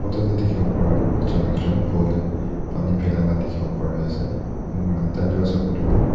dikhiwo paratu bacha ekjon phul tae Pani philai la dikhiwo parease enika kurina taitoh ase koilaetu--